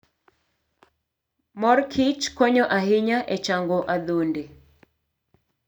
Mor kich konyo ahinya e chango adhonde.